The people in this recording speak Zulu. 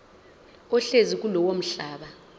ohlezi kulowo mhlaba